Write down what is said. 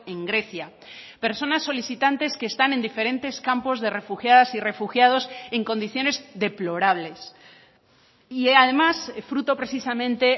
en grecia personas solicitantes que están en diferentes campos de refugiadas y refugiados en condiciones deplorables y además fruto precisamente